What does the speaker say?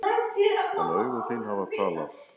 En augu þín hafa talað.